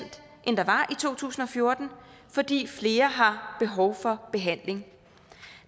to tusind og fjorten fordi flere har behov for behandling